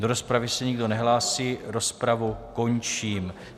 Do rozpravy se nikdo nehlásí, rozpravu končím.